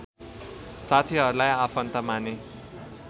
साथीहरूलाई आफन्त माने